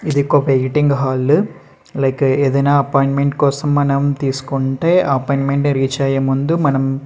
ఇది ఒక waiting hall like ఏదైనా అపాయింట్మెంట్ కోసం మనం తీసుకుంటే ఆ అపాయింట్మెంట్ రీచ్ అయ్యే ముందు మనం --